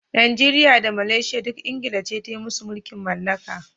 Najeriya da Malaysia duk England ce ta yi musu mulkin mallaka.